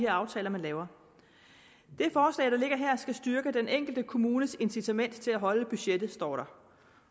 aftaler man laver det forslag der ligger her skal styrke den enkelte kommunes incitament til at holde budgettet står der